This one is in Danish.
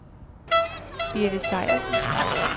Birte Sejersen